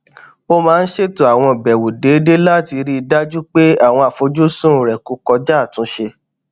ó máa ń ṣètò àwọn ìbèwò déédéé láti rí i dájú pé àwọn àfojúsùn rè kò kọjá àtúnṣe